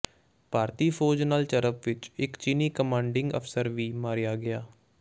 ਭਾਰਤੀ ਫ਼ੌਜ ਨਾਲ ਝੜਪ ਵਿਚ ਇਕ ਚੀਨੀ ਕਮਾਂਡਿੰਗ ਅਫ਼ਸਰ ਵੀ ਮਾਰਿਆ ਗਿਆ